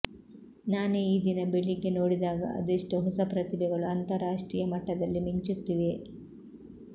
ನಾನೇ ಈದಿನ ಬೆಳಿಗ್ಯೆ ನೋಡಿದಾಗ ಅದೆಷ್ಟು ಹೊಸ ಪ್ರತಿಭೆಗಳು ಅಂತಾರಾಷ್ಟ್ರೀಯ ಮಟ್ಟದಲ್ಲಿ ಮಿಂಚುತ್ತಿವೆ